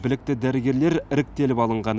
білікті дәрігерлер іріктеліп алынған